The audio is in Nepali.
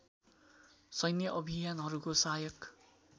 सैन्य अभियानहरूको सहायक